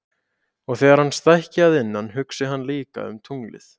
Og þegar hann stækki að innan hugsi hann líka um tunglið.